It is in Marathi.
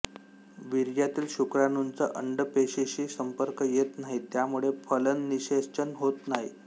वीर्यातील शुक्राणूंचा अंडपेशीशी संपर्क येत नाही त्यामुळे फलननिषेचन होत नाही